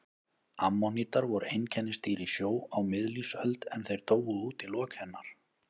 Ammonítar voru einkennisdýr í sjó á miðlífsöld en þeir dóu út í lok hennar.